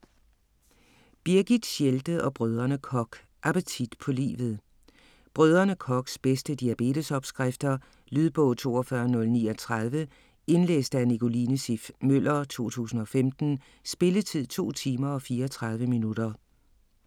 Birgit Schelde og Brdr. Koch: Appetit på livet Brdr. Kochs bedste diabetesopskrifter. Lydbog 42039 Indlæst af Nicoline Siff Møller, 2015. Spilletid: 2 timer, 34 minutter.